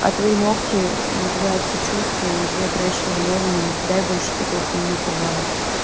а твои ногти блять сочувствую иди отращивай новые но не кидай больше такой хуйни пожалуйста